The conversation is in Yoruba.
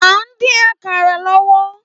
À ń dín àkàrà lọ́wọ́